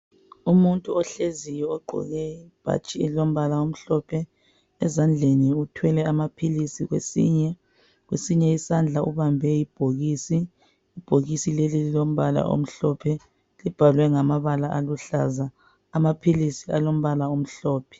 Umuntu ohleziyo ogqoke ibhatshi elilombala omhlophe ezandleni uthwele amapills kwesinye isindla ubambe ibhokisi kwelinye ibhokisi kulombala omhlophe libhalwe ngamabala aluhlaza amapills alombala omhlophe